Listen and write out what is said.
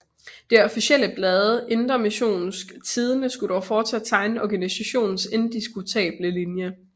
Det officielle blad Indre Missions Tidende skulle dog fortsat tegne organisationens indiskutable linje